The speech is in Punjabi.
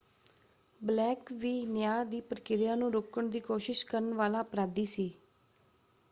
ਬਲੇਕ ਵੀ ਨਿਆਂ ਦੀ ਪ੍ਰਕਿਰਿਆ ਨੂੰ ਰੋਕਣ ਦੀ ਕੋਸ਼ਿਸ਼ ਕਰਨ ਵਾਲਾ ਅਪਰਾਧੀ ਸੀ।